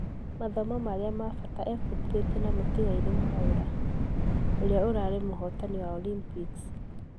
Mathomo marĩa ma fata e fudithĩtie na mũtigairie Mwaura, ũria ũrarĩ mũhotani wa Olympics.